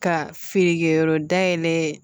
Ka feerekɛyɔrɔ dayɛlɛ